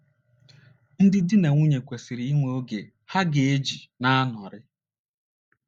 Ndị dị na nwunye kwesịrị inwe oge ha ga - eji na - anọrị.